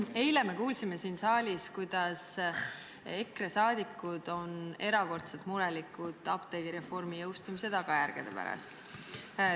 Eile me kuulsime siin saalis, et EKRE saadikud on erakordselt mures apteegireformi jõustumise tagajärgede pärast.